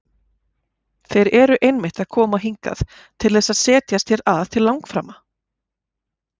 Þeir eru einmitt að koma hingað til þess að setjast hér að til langframa!